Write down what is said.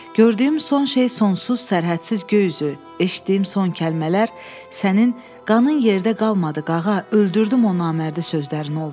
Gördüyüm son şey sonsuz, sərhədsiz göy üzü, eşitdiyim son kəlmələr sənin 'Qanın yerdə qalmadı, Qağa, öldürdüm o namərdi' sözlərin oldu.